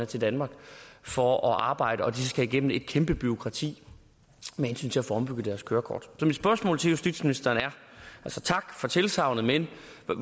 til danmark for at arbejde at de så skal igennem et kæmpe bureaukrati med hensyn til at få ombyttet deres kørekort så mit spørgsmål til justitsministeren er altså tak for tilsagnet men